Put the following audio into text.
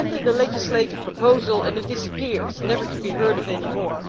We send in a legislative proposal and it disappears, never to be heard of any more.